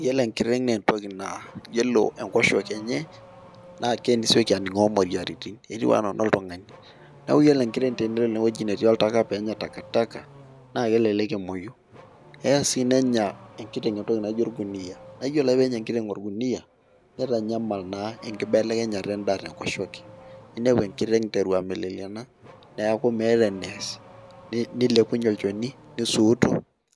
iyiolo enkiteng' naa entoki naa iyiolo enkoshoke enye naa kesioki aning'oo moyiaritin, etiu anaa enoltungani. neeku iyiolo enkiteng' tenelo ene wueji netii oltaka peenya taka taka. naa elelek emuoyu. eya sii nenya enkiteng' entoki naijo olkuniyia. naa iyiolo ake peenya enkiteng' olkuniyia. nitanyamal, naa enkibelekenyat edaa tenkoshoke. ninepu enkiteng' iteru ameleyiana neeku meeta nees nilepunye olchoni nisuut.